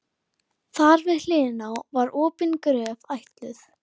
Skilaboð mín til stuðningsmanna?